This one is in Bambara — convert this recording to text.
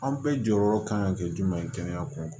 An bɛɛ jɔyɔrɔ kan ka kɛ jumɛn ye kɛnɛya ko kan